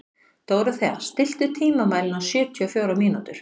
Dórothea, stilltu tímamælinn á sjötíu og fjórar mínútur.